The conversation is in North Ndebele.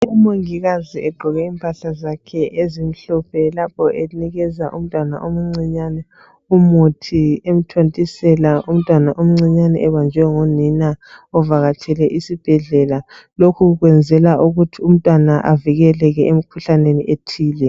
Umongikazi egqoke impahla zakhe ezimhlophe lapho enikeza umntwana omcinyane umuthi emthontisela umntwana omcinyane ebanjwe ngunina evakatshele esibhedlela. Lokhu kwenzela ukuthi umntwana avikeleke emkhuhlaneni ethile